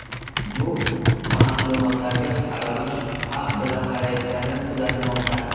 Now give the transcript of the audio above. Bu ma’lumotlarga fuqarolar shubha bilan qarayotgani kuzatilmoqda.